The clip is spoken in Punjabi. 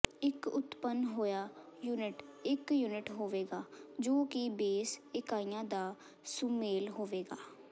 ਇਕ ਉਤਪੰਨ ਹੋਇਆ ਯੂਨਿਟ ਇਕ ਯੂਨਿਟ ਹੋਵੇਗਾ ਜੋ ਕਿ ਬੇਸ ਇਕਾਈਆਂ ਦਾ ਸੁਮੇਲ ਹੋਵੇਗਾ